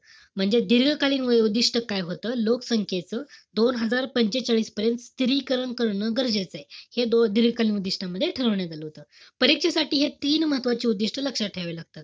म्हणजे दीर्घकालीन उद्दिष्ट्य काय होतं? लोकसंख्येचं दोन हजार पंचेचाळीस पर्यंत स्थिरीकरण करणं गरजेचंय. हे दीर्घकालीन उद्दिष्ट्यांमध्ये ठरवण्यात आलं होतं. परीक्षेसाठी हे तीन महत्वाची उद्दिष्ट लक्षात ठेवावी लागतात.